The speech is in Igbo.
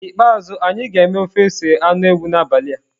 N'ikpeazụ, anyị ga-eme ofe ose anụ ewu n'abalị a.